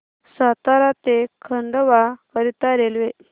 सातारा ते खंडवा करीता रेल्वे